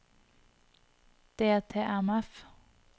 DTMF